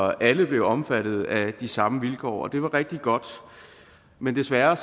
at alle blev omfattet af de samme vilkår og det var rigtig godt men desværre